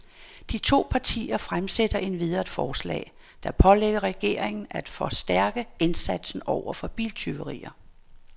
De to partier fremsætter endvidere et forslag, der pålægger regeringen af forstærke indsatsen over for biltyverier.